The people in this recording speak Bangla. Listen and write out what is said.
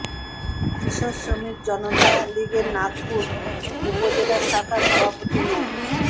কৃষক শ্রমিক জনতা লীগের নাগরপুর উপজেলা শাখার সভাপতি মো